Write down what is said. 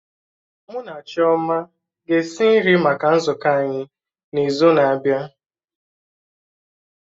Mụ na Chioma ga-esi nri maka nzukọ anyị n'izu na-abịa